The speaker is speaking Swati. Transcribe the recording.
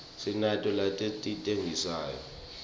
sinato naletitsengisa tincuadzi